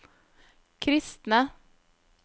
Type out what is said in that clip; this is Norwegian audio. kristne